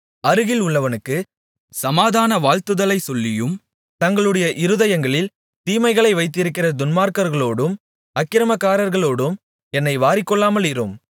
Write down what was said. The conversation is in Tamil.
அருகில் உள்ளவனுக்குச் சமாதான வாழ்த்துதலைச் சொல்லியும் தங்களுடைய இருதயங்களில் தீமைகளை வைத்திருக்கிற துன்மார்க்கர்களோடும் அக்கிரமக்காரர்களோடும் என்னை வாரிக்கொள்ளாமலிரும்